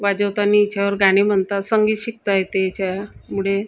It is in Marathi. वाजवतानी याच्यावर गाणे म्हणतात संगीत शिकता येते याच्यामुळे--